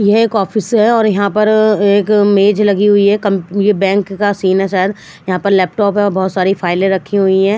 ये है एक ऑफिस है और यहाँ पर एक मेज लगी हुई है कॉम्प ये बैंक का सीन है सायद यहाँ पर लैपटॉप है और बहत सारे फाइलें रख्ही हुई है।